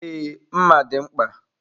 Ee, mma dị mkpa.